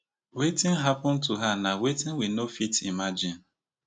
wetin happun to her na wetin we no fit imagine